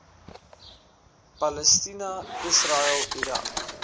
palestina israel irak